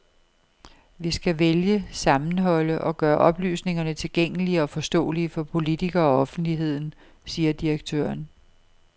Vi skal vælge, sammenholde og gøre oplysningerne tilgængelige og forståelige for politikere og offentligheden, siger direktøren.